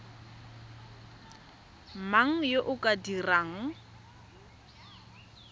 mang yo o ka dirang